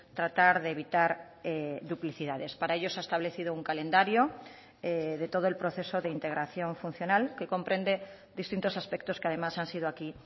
tratar de evitar duplicidades para ello se ha establecido un calendario de todo el proceso de integración funcional que comprende distintos aspectos que además han sido aquí